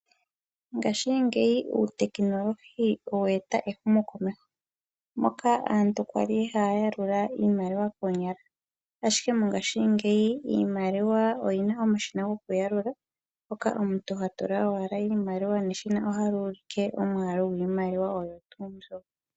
Ngashingeyi uutekinolohi owe eta ehumokomeho moka aantu ya li haya yalula iimaliwa koonyala ashike mongaashingeyi iimaliwa oyi na omashina gokuyalula moka omuntu ha tula owala iimaliwa meshina lyo ota li ulike omwaalu gwiimaliwa oyo tuu mbyo.